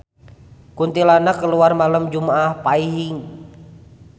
Kuntilanak kaluar malem jumaah Paing